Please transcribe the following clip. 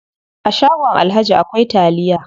A shagon alhaji akwai taliya.